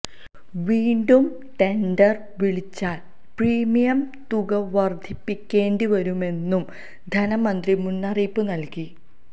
വീണ്ടും ടെന്ഡര് വിളിച്ചാല് പ്രീമിയം തുകവര്ധിപ്പിക്കേണ്ടി വരുമെന്നും ധനമന്ത്രി മുന്നറിയിപ്പ് നല്കി